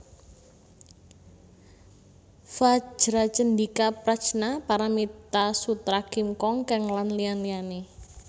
Vajracchendika Prajna Paramita Sutra Kim Kong Keng lan liya liyané